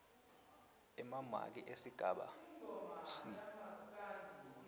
emamaki esigaba c